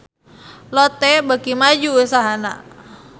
Lotte beuki maju usahana